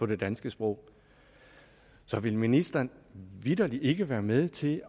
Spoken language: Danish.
det danske sprog så vil ministeren vitterligt ikke være med til